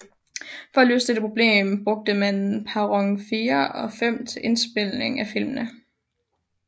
For at løse dette problem brugte man perron 4 og 5 til indspilningen af filmene